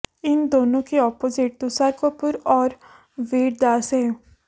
इन दोनों के अपोजिट तुषार कपूर और वीर दास हैं